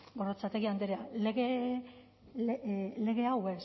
gorrotxategi andrea lege hau